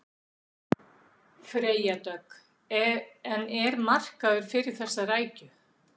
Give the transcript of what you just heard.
Freyja Dögg: En er markaður fyrir þessa rækju?